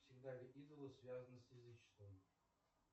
всегда ли идолы связаны с язычеством